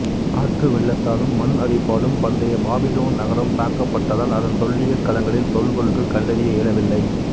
ஆற்று வெள்ளத்தாலும் மண் அரிப்பாலும் பண்டைய பாபிலோன் நகரம் தாக்கப்பட்டதால் அதன் தொல்லியல் களங்களில் தொல்பொருட்கள் கண்டறிய இயலவில்லை